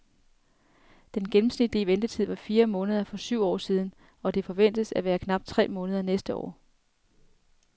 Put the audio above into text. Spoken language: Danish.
Den gennemsnitlige ventetid var fire måneder for syv år siden og det forventes at være knap tre måneder næste år.